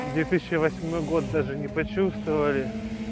две тысячи восьмой год даже не почувствовали